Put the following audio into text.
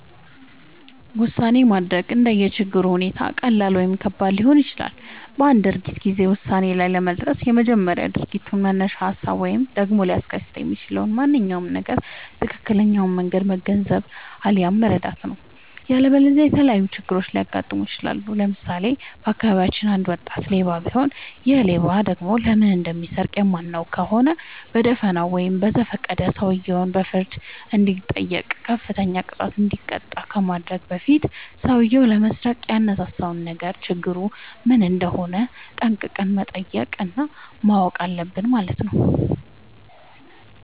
ውሳኔ ማድረግ እንደየ ችግሩ ሁኔታ ቀላል ወይም ከባድ ሊሆን ይችላል። በአንድ ድርጊት ጊዜ ውሳኔ ላይ ለመድረስ በመጀመሪያ የድርጊቱን መነሻ ሀሳብ ወይም ደግሞ ሊያስከትል የሚችለውን ማንኛውም ነገር ትክክለኛውን መንገድ መገንዘብ፣ አለያም መረዳት ነው።. ያለበለዚያ የተለያዩ ችግሮች ሊያጋጥሙን ይችላሉ። ለምሳሌ:- በአካባቢያችን አንድ ወጣት ሌባ ቢኖር ይሔ ሌባ ደግሞ ለምን እንደሚሰርቅ የማናውቅ ከሆነ በደፋናው ወይም በዘፈቀደ ሰውየው በፍርድ እንዲጠይቅ፤ ከፍተኛ ቅጣት እንዲቀጣ ከማድረጋችን በፊት ሠውዬው ለመስረቅ ያነሳሳውን ነገር ችግሩ ምን እንደሆነ ጠንቅቀን መጠየቅ እና ማወቅ አለብን ማለት ነው።